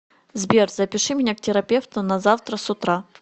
сбер запиши меня к терапевту на завтра с утра